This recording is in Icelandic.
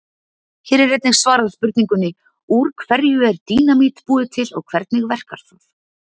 Hér er einnig svarað spurningunni: Úr hverju er dínamít búið til og hvernig verkar það?